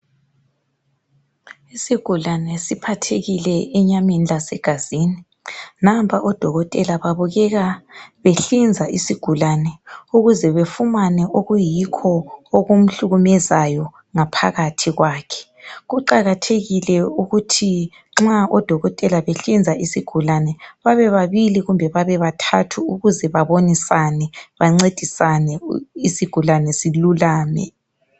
Isigulane siphathekile enyameni lase gazini nampa odokotela babukeka behlinza isigulane ukuze befumane okuyikho okumhlukumezayo ngaphakathi kwakhe. Kuqakathekile ukuthi nxa odokotela behlinza isigulane babe babili kumbe bathathu ukuze babonisane bancedisane isigulane silulame.